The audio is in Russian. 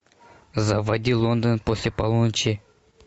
заводи лондон после полуночи